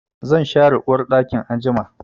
Zan share uwarɗakin anjima.